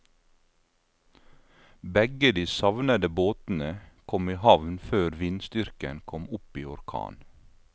Begge de savnede båtene kom i havn før vindstyrken kom opp i orkan.